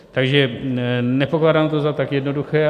Takže nepokládám to za tak jednoduché.